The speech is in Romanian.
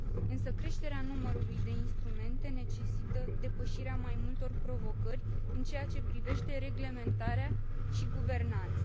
Însă creșterea numărului de instrumente necesită depășirea mai multor provocări în ceea ce privește reglementarea și guvernanța.